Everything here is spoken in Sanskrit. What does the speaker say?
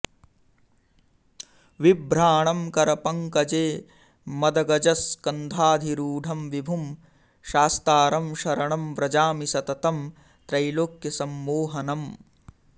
बिभ्राणं करपङ्कजे मदगजस्कन्धाधिरूढं विभुं शास्तारं शरणं व्रजामि सततं त्रैलोक्यसम्मोहनम्